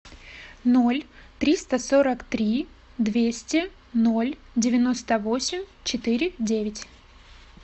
ноль триста сорок три двести ноль девяносто восемь четыре девять